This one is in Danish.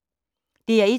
DR1